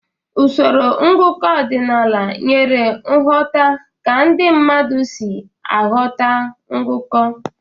Usoro ngụkọ ọdịnala nyere nghọta ka ndị mmadụ si aghọta ngụkọ.